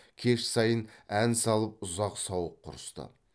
кеш сайын ән салып ұзақ сауық құрысты